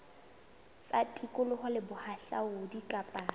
tsa tikoloho le bohahlaudi kapa